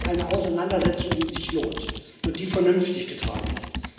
Aber das ist eine Auseinandersetzung, die sich lohnt und die vernünftig getragen ist.